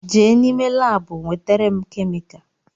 Je n’ime laabu wetara m kemika